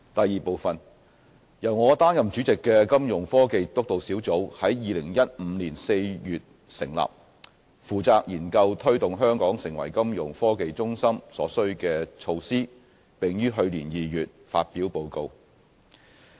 二由我擔任主席的金融科技督導小組在2015年4月成立，負責研究推動香港成為金融科技中心所需的措施，並於去年2月發表報告。